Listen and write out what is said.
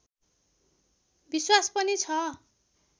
विश्वास पनि छ